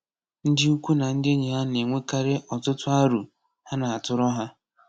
Ndị ikwu na ndị enyi ha na-enwekarị ọtụtụ aro ha na-atụrụ ha.